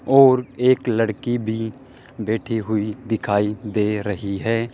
और एक लड़की भी बैठी हुई दिखाई दे रही है।